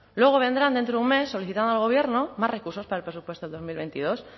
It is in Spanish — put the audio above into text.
luego vendrán dentro de un mes solicitando al gobierno más recursos para el presupuesto de dos mil veintidós